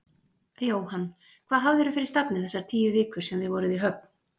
Jóhann: Hvað hafðirðu fyrir stafni þessar tíu vikur sem þið voruð í höfn?